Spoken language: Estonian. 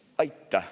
Aitäh!